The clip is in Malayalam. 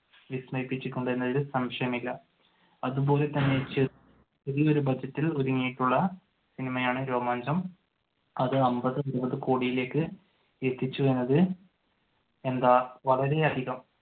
വിസ്മയിപ്പിച്ചിട്ടുണ്ട് എന്നതിൽ സംശയമില്ല. അതുപോലെ തന്നെ ചെറിയ ഒരു ബഡ്ജറ്റിൽ ഒരുക്കിയിട്ടുള്ള സിനിമയാണ് രോമാഞ്ചം. അത് അമ്പതു നൂർ കോടിയിലേക്ക് എത്തിച്ചു എന്നത് എന്താ വളരെ അധികം